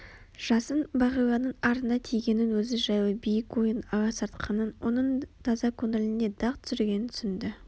жасын бағиланың арына тигенін өзі жайлы биік ойын аласартқанын оның таза көңіліне дақ түсіргенін түсінді